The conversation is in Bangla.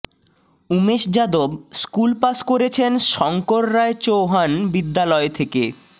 উমেশ যাদব স্কুল পাশ করেছেন শঙ্কর রায় চৌহান বিদ্য়ালয় থেকে